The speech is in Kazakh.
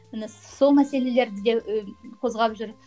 міне сол мәселелерді де і қозғап жүр